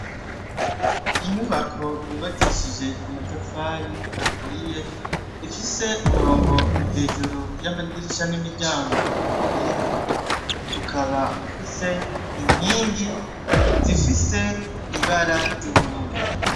Inyubako yubakishije amatafari ahiye , ifise umurongo hejuru y'amadirisha n'imiryango wera ,ukaba ufise inkingi zifise ibara ry'ubururu.